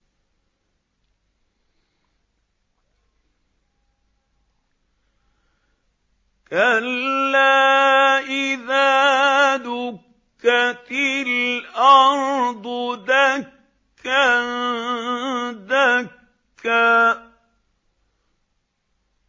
كَلَّا إِذَا دُكَّتِ الْأَرْضُ دَكًّا دَكًّا